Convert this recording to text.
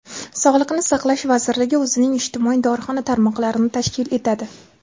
Sog‘liqni saqlash vazirligi o‘zining ijtimoiy dorixona tarmoqlarini tashkil etadi.